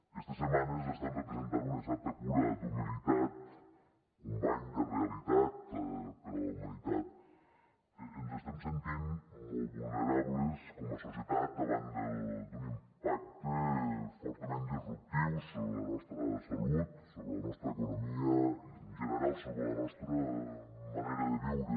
estes setmanes estan representant una certa cura d’humilitat un bany de realitat per a la humanitat que ens estem sentint molt vulnerables com a societat davant d’un impacte fortament disruptiu sobre la nostra salut sobre la nostra economia i en general sobre la nostra manera de viure